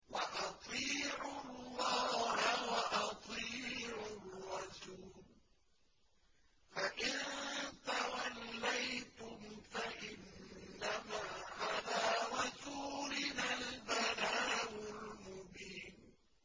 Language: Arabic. وَأَطِيعُوا اللَّهَ وَأَطِيعُوا الرَّسُولَ ۚ فَإِن تَوَلَّيْتُمْ فَإِنَّمَا عَلَىٰ رَسُولِنَا الْبَلَاغُ الْمُبِينُ